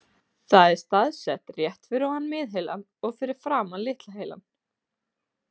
Það er staðsett rétt fyrir ofan miðheilann og fyrir framan litla heilann.